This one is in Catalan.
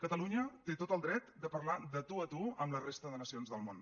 catalunya té tot el dret de parlar de tu a tu amb la resta de nacions del món